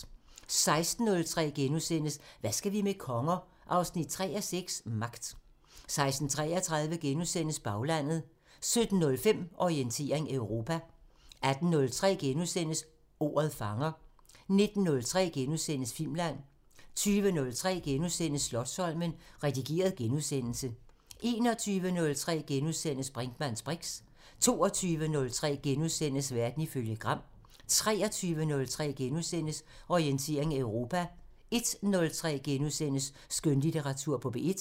16:03: Hvad skal vi med konger? 3:6 – Magt * 16:33: Baglandet * 17:05: Orientering Europa 18:03: Ordet fanger * 19:03: Filmland * 20:03: Slotsholmen – redigeret genudsendelse * 21:03: Brinkmanns briks * 22:03: Verden ifølge Gram * 23:03: Orientering Europa * 01:03: Skønlitteratur på P1 *